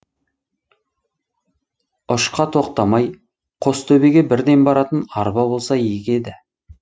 ұшқа тоқтамай қостөбеге бірден баратын арба болса игі еді